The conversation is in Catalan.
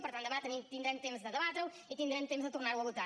per tant demà tindrem temps de debatre ho i tindrem temps de tornar ho a votar